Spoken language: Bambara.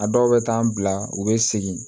A dɔw bɛ taa an bila u bɛ segin